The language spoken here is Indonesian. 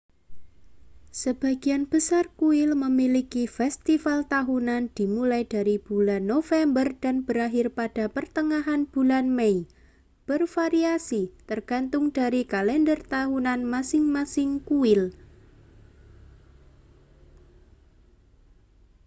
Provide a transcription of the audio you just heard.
sebagian besar kuil memiliki festival tahunan dimulai dari bulan november dan berakhir pada pertengahan bulan mei bervariasi tergantung dari kalender tahunan masing-masing kuil